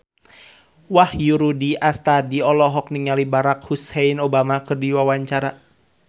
Wahyu Rudi Astadi olohok ningali Barack Hussein Obama keur diwawancara